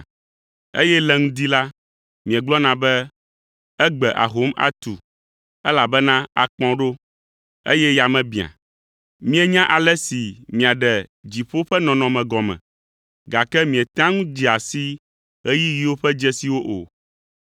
eye le ŋdi la, miegblɔna be, ‘Egbe ahom atu, elabena akpɔ̃ ɖo, eye yame biã.’ Mienya ale si miaɖe dziƒo ƒe nɔnɔme gɔme, gake mietea ŋu dzea si ɣeyiɣiwo ƒe dzesiwo o.